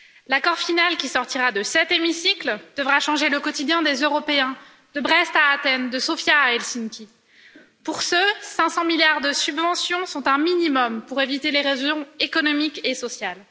L'accord final qui sortira de cet hémicycle devra changer le quotidien des Européens, de Brest à Athènes, de Sofia à Helsinki. Pour ce, 500 milliards de subventions sont un minimum pour éviter l'érosion économique et sociale.